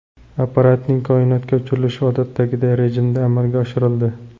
Apparatning koinotga uchirilishi odatdagi rejimda amalga oshirildi.